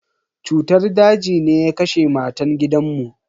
Cutar daji ne ya kashe matan gidan mu.